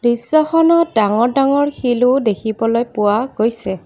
দৃশ্যখনত ডাঙৰ ডাঙৰ শিলো দেখিব পোৱা গৈছে।